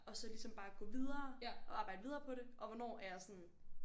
Og så ligesom bare gå videre og arbejde videre på det og hvornår er jeg sådan